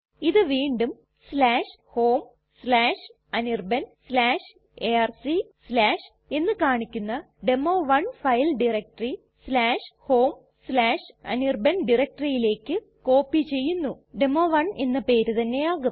ഇത് വീണ്ടും homeanirbanarc എന്ന് കാണിക്കുന്ന ഡെമോ1 ഫയൽ ടയരക്റ്റെറി homeanirban directoryലേക്ക് കോപ്പി ചെയ്യുന്നു ഡെമോ 1 എന്ന പേര് തന്നെ ആകും